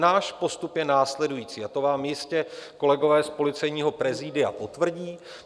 Náš postup je následující, a to vám jistě kolegové z policejního prezidia potvrdí.